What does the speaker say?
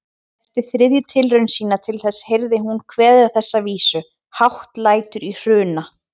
Eftir þriðju tilraun sína til þess heyrði hún kveðna þessa vísu: Hátt lætur í Hruna